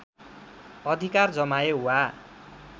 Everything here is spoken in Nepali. अधिकार जमाए वा